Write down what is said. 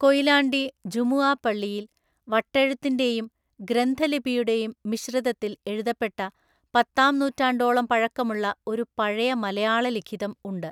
കൊയിലാണ്ടി ജുമുഅ പള്ളിയിൽ, വട്ടെഴുത്തിൻ്റെയും ഗ്രന്ഥലിപിയുടെയും മിശ്രിതത്തിൽ എഴുതപ്പെട്ട പത്താംനൂറ്റാണ്ടോളം പഴക്കമുള്ള ഒരു പഴയ മലയാള ലിഖിതം ഉണ്ട്.